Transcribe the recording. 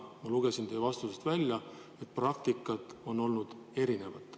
Ma lugesin teie vastusest välja, et praktikat on olnud erinevat.